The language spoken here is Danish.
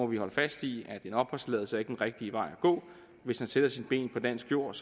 vi holde fast i at en opholdstilladelse ikke er den rigtige vej at gå hvis han sætter sine ben på dansk jord